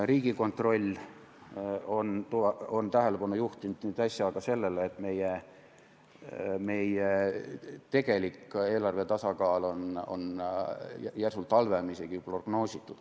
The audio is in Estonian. Riigikontroll on äsja tähelepanu juhtinud ka sellele, et meie tegelik eelarve tasakaal on järsult halvem isegi prognoositust.